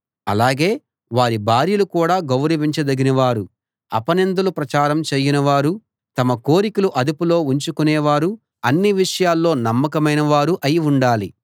అలాగే వారి భార్యలు కూడా గౌరవించదగినవారూ అపనిందలు ప్రచారం చేయనివారూ తమ కోరికలు అదుపులో ఉంచుకొనేవారూ అన్ని విషయాల్లో నమ్మకమైనవారూ అయి ఉండాలి